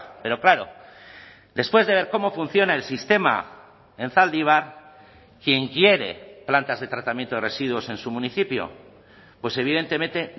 pero claro después de ver cómo funciona el sistema en zaldibar quién quiere plantas de tratamiento de residuos en su municipio pues evidentemente